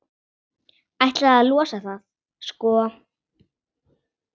Ætlaði að losa það, sko.